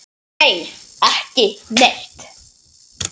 Nei, ekki neitt.